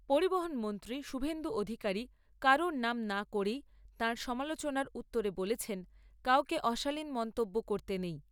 পরিবহন মন্ত্রী শুভেন্দু অধিকারী কারোর নাম না করেই তাঁর সমালোচনার উত্তরে বলেছেন, কাউকে অশালীন মন্তব্য করতে নেই।